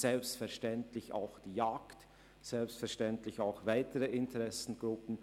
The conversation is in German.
Selbstverständlich gilt das auch für die Vertreter der Jagd und weitere Interessengruppen.